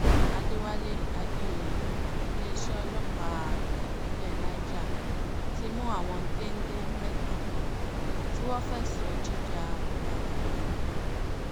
àdẹ̀wálé àdèoyè iléeṣẹ́ ọlọ́pàá ìpínlẹ̀ um niger ti mú àwọn géńdé mẹ́ta um kan tí wọ́n fẹ̀sùn jíja ọ̀kadà gbà kan